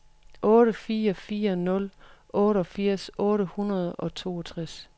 otte fire fire nul otteogfirs otte hundrede og toogtres